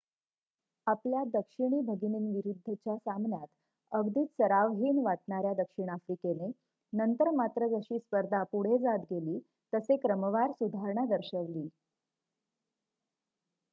आपल्या दक्षिणी भगिनींविरुद्धच्या सामन्यात अगदीच सरावहीन वाटणाऱ्या दक्षिण आफ्रिकेने नंतर मात्र जशी स्पर्धा पुढे जात गेली तसे क्रमवार सुधारणा दर्शवली